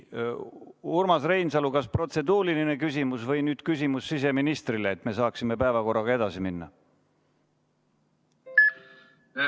Urmas Reinsalu, kas protseduuriline küsimus või küsimus siseministrile, et me saaksime päevakorraga edasi minna?